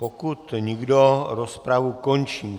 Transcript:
Pokud nikdo, rozpravu končím.